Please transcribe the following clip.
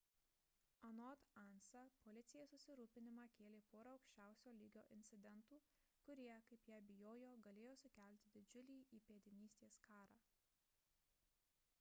anot ansa policijai susirūpinimą kėlė pora aukščiausio lygio incidentų kurie kaip jie bijojo galėjo sukelti didžiulį įpėdinystės karą